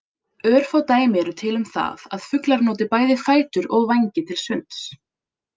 Örfá dæmi eru til um það að fuglar noti bæði fætur og vængi til sunds.